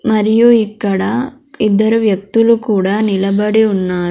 మరియు ఇక్కడ ఇద్దరు వ్యక్తులు కూడా నిలబడి ఉన్నా--